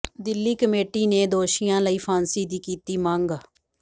Delhi committee ਨੇ ਦੋਸ਼ੀਆਂ ਲਈ ਫਾਂਸੀ ਦੀ ਕੀਤੀ ਮੰਗ